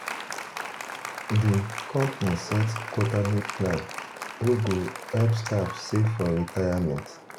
um the um company set quarterly plan wey go um help staff save for retirement.